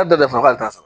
A dafara k'alu t'a sɔrɔ